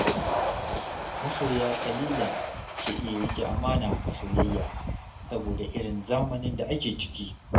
Masoya ƙalilan ke iya riƙe amana a soyayya saboda irin zamanin da ake ciki.